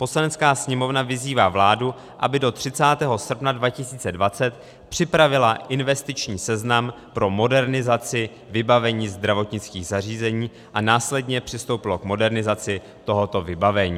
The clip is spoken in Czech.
Poslanecká sněmovna vyzývá vládu, aby do 30. srpna 2020 připravila investiční seznam pro modernizaci vybavení zdravotnických zařízení a následně přistoupila k modernizaci tohoto vybavení.